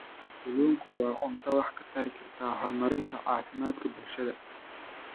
Kalluunku waa cunto wax ka tari karta horumarinta caafimaadka bulshada.